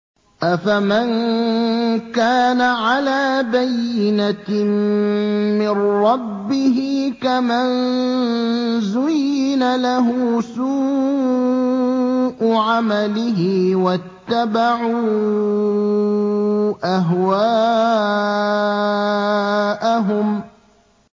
أَفَمَن كَانَ عَلَىٰ بَيِّنَةٍ مِّن رَّبِّهِ كَمَن زُيِّنَ لَهُ سُوءُ عَمَلِهِ وَاتَّبَعُوا أَهْوَاءَهُم